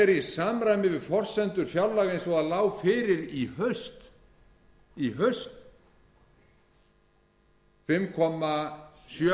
er í samræmi við forsendur fjárlaga eins og það lá fyrir í haust fimm komma sjö